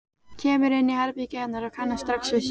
Kemur inn í herbergið hennar og kannast strax við sig.